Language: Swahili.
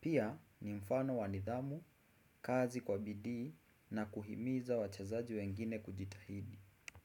Pia ni mfano wa nidhamu, kazi kwa bidii na kuhimiza wachezaji wengine kujitahidi.